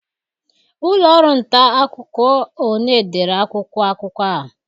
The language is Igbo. Ụlọ ọrụ nta akụkọ ole dere akwụkwọ akụkọ a?